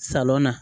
Salɔn na